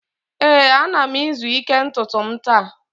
ee, ana m izu ike ntutu m taa